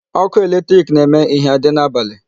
Ọkụ electric na-eme ihie adị n'abalị.